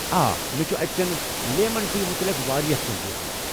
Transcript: آ، مےٚ چھُ اتہِ چیٚن لٮ۪من ٹی متعلق واریاہ کٮ۪نٛہہ بوٗزمُت ۔